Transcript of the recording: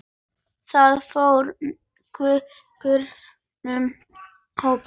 Það fór kurr um hópinn.